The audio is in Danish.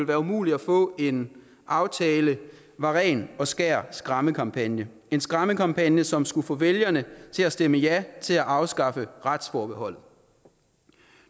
være umuligt at få en aftale var ren og skær skræmmekampagne en skræmmekampagne som skulle få vælgerne til at stemme ja til at afskaffe retsforbeholdet